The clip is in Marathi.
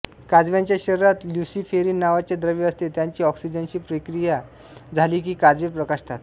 काजव्यांच्या शरीरात ल्युसीफेरीन नावाचे द्रव्य असते त्याची ऑक्सिजनशी विक्रिया झाली की काजवे प्रकाशतात